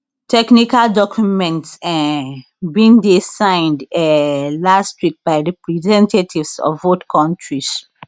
technical documents um bin dey signed um last week by representatives of both countries